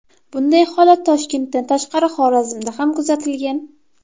Bunday holat Toshkentdan tashqari Xorazmda ham kuzatilgan .